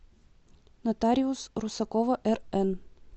нотариус русакова рн